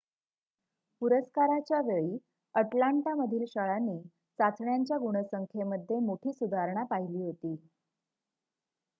पुरस्काराच्या वेळी अटलांटामधील शाळांनी चाचण्यांच्या गुणसंख्येमध्ये मोठी सुधारणा पहिली होती